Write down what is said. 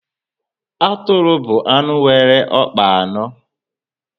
Atụrụ bụ anụ nwere ọkpa anọ